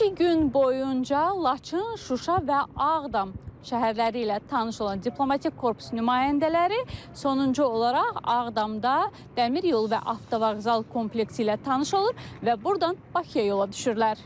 İki gün boyunca Laçın, Şuşa və Ağdam şəhərləri ilə tanış olan diplomatik korpus nümayəndələri sonuncu olaraq Ağdamda dəmir yolu və avtovağzal kompleksi ilə tanış olur və burdan Bakıya yola düşürlər.